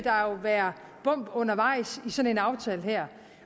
være bump undervejs i sådan en aftale her